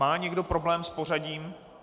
Má někdo problém s pořadím?